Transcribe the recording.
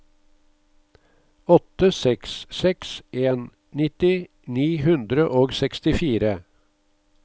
åtte seks seks en nitti ni hundre og sekstifire